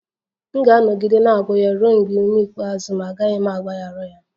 M ga-anọgide na-agwọ ya ruo mgbe ume ikpeazụ m, agaghị m agbaghara ya